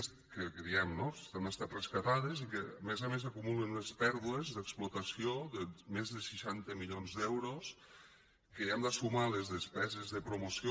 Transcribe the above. el que diem no han estat rescatades i que a més a més acumulen unes pèrdues d’explotació de més de seixanta milions d’euros que hi hem de sumar les despeses de promoció